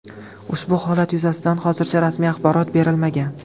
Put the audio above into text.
Ushbu holat yuzasidan hozircha rasmiy axborot berilmagan.